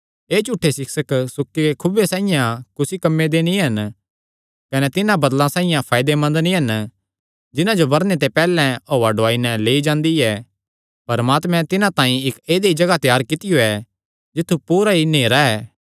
एह़ झूठे सिक्षक सुक्के खुऐ साइआं कुसी कम्मे दे नीं हन कने तिन्हां बदल़ां साइआं फायदेमंद नीं हन जिन्हां जो बरने ते पैहल्ले हौआ डुआई नैं लेई जांदी ऐ परमात्मे तिन्हां तांई इक्क ऐदई जगाह त्यार कित्तियो ऐ जित्थु पूरा ई नेहरा ऐ